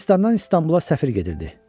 Firəngistandan İstanbula səfir gedirdi.